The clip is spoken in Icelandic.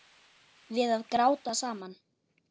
Við að gráta saman.